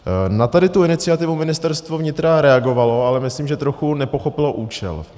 Na tady tu iniciativu Ministerstvo vnitra reagovalo, ale myslím, že trochu nepochopilo účel.